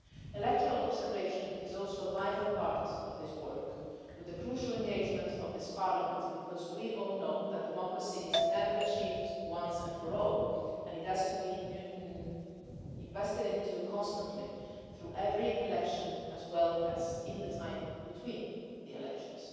Electoral observation is also a vital part of this work with the crucial engagement of this Parliament, because we all know that democracy is never achieved once and for all and it has to be invested into constantly through every election as well as in the time between the elections.